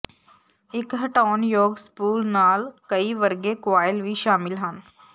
ਇੱਕ ਹਟਾਉਣਯੋਗ ਸਪੂਲ ਨਾਲ ਕਈ ਵਰਗੇ ਕੁਆਇਲ ਵੀ ਸ਼ਾਮਲ ਸਨ